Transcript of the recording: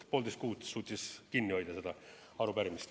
Poolteist kuud suutis kinni hoida seda arupärimist.